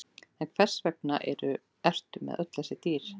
En hvers vegna ertu með öll þessi dýr?